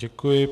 Děkuji.